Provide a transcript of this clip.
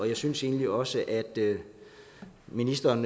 jeg synes egentlig også at ministeren